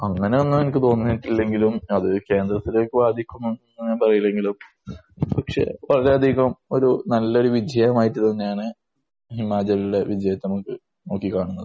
അങ്ങനെ ഒന്നും നമുക്ക് തോന്നിയിട്ടില്ലെങ്കിലും അത് കേന്ദ്രത്തിലേക്കു ബാധിക്കുമെന്ന് പറയാൻ കഴിയില്ലെങ്കിലും പക്ഷെ വളരെയധികം ഒരു നല്ലൊരു വിജയമായിട്ട് തന്നെയാണ് ഹിമാചലിലെ വിജയത്തെ നമുക്ക് നോക്കി കാണുന്നത്.